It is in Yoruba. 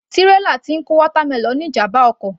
Tírélà tí ń kó watermelon ní ìjàmbá ọkọ̀